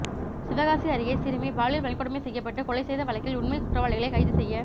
சிவகாசி அருகே சிறுமி பாலியல் வன்கொடுமை செய்யப்பட்டு கொலை செய்த வழக்கில் உண்மை குற்றவாளிகளை கைது செய்ய